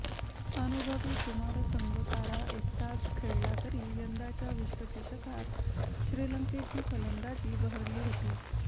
अनुभवी कुमार संगकारा एकटाच खेळला तरी यंदाच्या विश्वचषकात श्रीलंकेची फलंदाजी बहरली होती